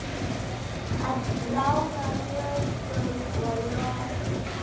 Að ráða lögum og lofum.